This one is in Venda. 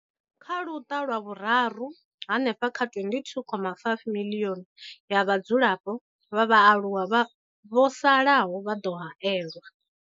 Kha luṱa lwa vhuraru, hanefha kha 22.5 miḽioni ya vhadzulapo vha vhaaluwa vho salaho vha ḓo haelwa.